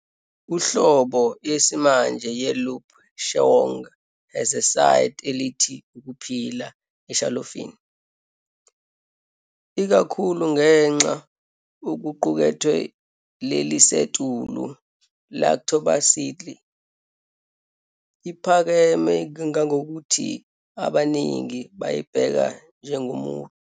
Uhlobo yesimanje ye "Lup Cheong" has a eside elithe ukuphila eshalofini, ikakhulu ngenxa wokuqukethwe lelisetulu lactobacilli, iphakeme kangangokuthi abaningi bayibheka njengomuncu.